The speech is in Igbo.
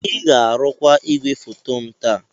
Ị ga-arụkwa igwefoto m taa!